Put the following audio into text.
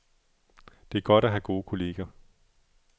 Det er godt at have gode kolleger.